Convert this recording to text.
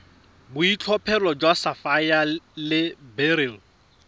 boitlhophelo jwa sapphire le beryl